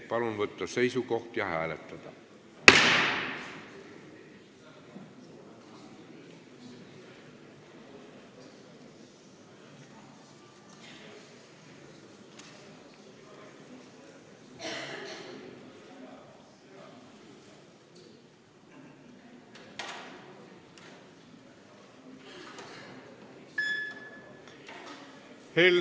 Palun võtta seisukoht ja hääletada!